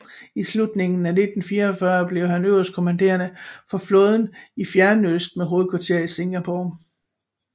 I slutningen af 1941 blev han øverstkommanderende for flåden i Fjernøsten med hovedkvarter i Singapore